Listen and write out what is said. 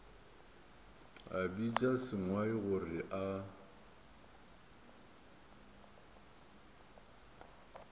a bitša sengwai gore a